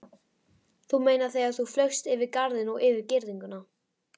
Þú meinar þegar þú flaugst yfir garðinn og yfir girðinguna.